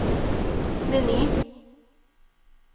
meny